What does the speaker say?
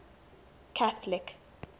catholic